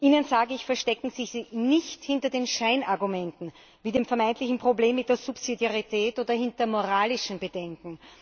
Ihnen sage ich Verstecken Sie sich nicht hinter den Scheinargumenten, wie dem vermeintlichen Problem mit der Subsidiarität oder hinter moralischen Bedenken.